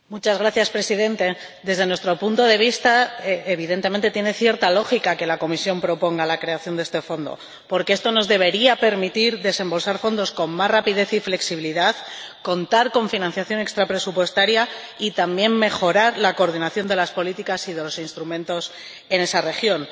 Señor Presidente, desde nuestro punto de vista, evidentemente tiene cierta lógica que la Comisión proponga la creación de este fondo, porque esto nos debería permitir desembolsar fondos con más rapidez y flexibilidad, contar con financiación extrapresupuestaria y también, mejorar la coordinación de las políticas y de los instrumentos en esa región.